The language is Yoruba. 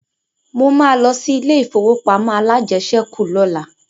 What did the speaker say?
Mo ma lọ sí ilé ìfowópamọ́ alájẹsẹ́kù lọ́la